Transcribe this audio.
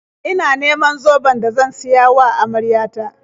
Ina neman zoben da zan siya wa amarya ta.